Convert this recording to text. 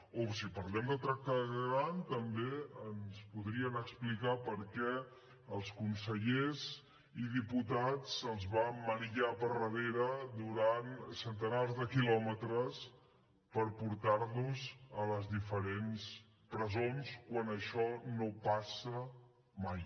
o si parlem de tracte degradant també ens podrien explicar per què als consellers i diputats se’ls va emmanillar per darrere durant centenars de quilòmetres per portar los a les diferents presons quan això no passa mai